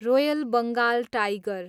royal Bengal tiger